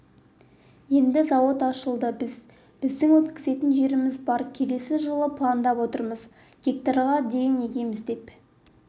енді зауыт ашылды біздің өткізетін жеріміз бар келесі жылы пландап отырмыз гектарға дейін егеміз деп